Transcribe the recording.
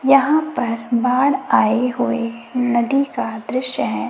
यहाँ पर बाढ़ आए हुए नदी का दृश्य है।